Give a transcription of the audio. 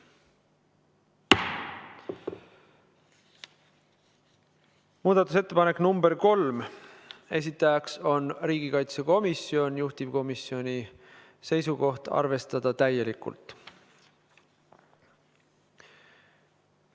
Muudatusettepanek nr 3, esitajaks on riigikaitsekomisjon, juhtivkomisjoni seisukoht: arvestada täielikult.